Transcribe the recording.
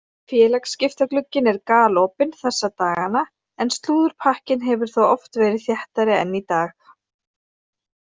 Félagsskiptaglugginn er galopinn þessa dagana en slúðurpakkinn hefur þó oft verið þéttari en í dag.